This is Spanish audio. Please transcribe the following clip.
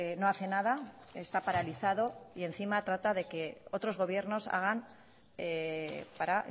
no hace nada está paralizado y encima trata de que otros gobiernos hagan para